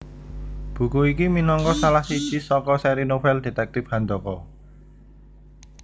Buku iki minangka salah siji saka sèri novel detektip Handaka